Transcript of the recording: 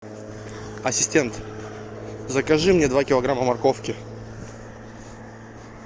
ассистент закажи мне два килограмма морковки